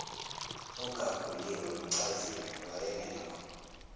ogaguliwe nochaziwe wayengekho